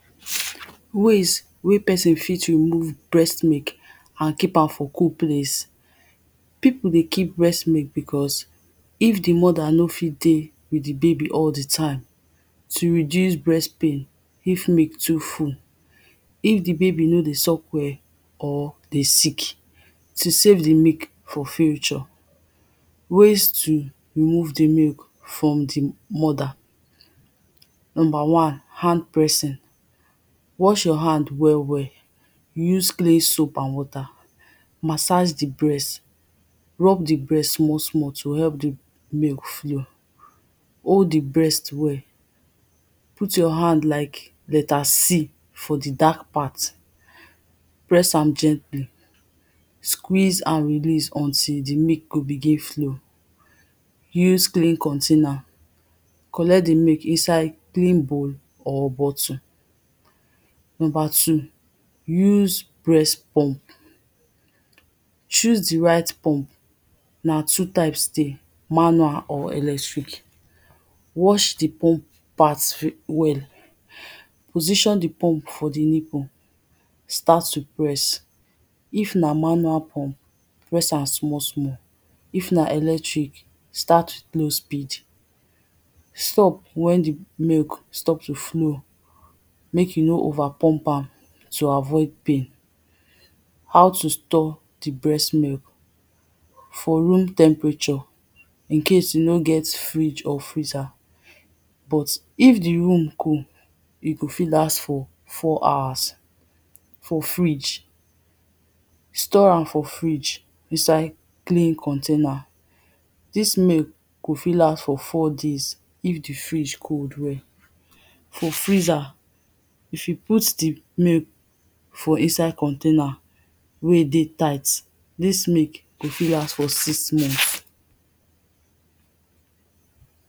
ways wey pesn fit remove breast mik and keepmam for cool place. pipu dey keep breast milk because, if di mother no fi dey with di baby all di time, to reduce breast pain if milk too full if di baby no dey suck well, or dey sick, to save di milk for future ways to remove di milk from di mother number wan hand pressing, wash your hand well well, use clean soap and water massage di brest, rub di breast small small to help d milk flow, hold di breast well, put your hand like letter c for di dark part, press am gently, squeeze and release until di milk go begin flow, use clean container, collect di milk inside clean bowl or bottle, number two, use breast pump. choose di right pump na two types dey manual or electric, wash di pump part well, position d pump for di nipple, start to press if na manual pump press am small small, if na electric start with low speed. Stop wen d milk stop to flow mek you no over pump am to avoid pain how to store di breast milk for room temperature incase you no get fridge or freezer but if di room cold e go fi last for four hours for fridge, store am for fridge inside clean container, dis milk go fit last for four days if di fridge cold well. for freezer, if yu put di milk for insde contyainer wey e dey tight, dis milk go fit last for six months.